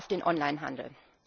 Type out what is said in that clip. auf den Online Handel.